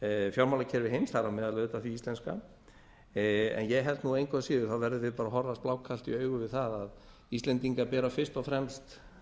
fjármálakerfi heims þar á meðal utan hins íslenska en ég held að engu að síður verðum við að horfast blákalt í augu við það að íslendingar bera fyrst og fremst